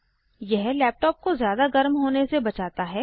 यह लैपटॉप को ज़्यादा गर्म होने से बचाता है